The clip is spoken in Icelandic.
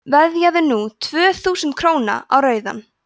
veðjaðu núna tvö þúsund króna á rauðan